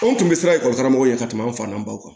Anw tun bɛ siran ekɔli karamɔgɔw ɲɛ ka tɛmɛ anw fa na baw kan